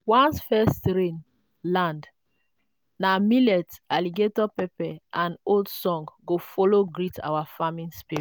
first rain land na millet alligator pepper and old song go follow greet our farming spirits.